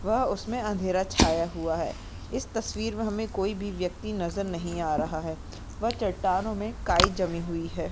वह उसमे अंधेरा छाया हुआ है। इस तस्वीर मैं हमे कोई भी व्यक्ति नजर नहीं आ रहा है। वह चट्टानों मैं काई जमी हुई है।